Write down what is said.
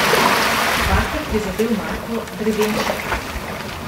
Dvakrat je zadel Marko Drevenšek.